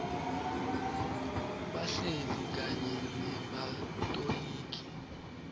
bahleli kanye nebatoligi